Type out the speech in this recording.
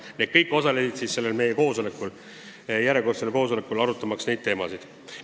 Need kõik olid esindatud meie järjekordsel koosolekul, arutamaks neid teemasid.